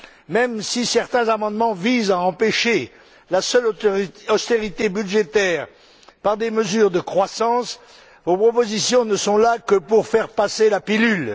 Même si certains amendements visent à empêcher la seule austérité budgétaire par des mesures de croissance, vos propositions ne sont là que pour faire passer la pilule.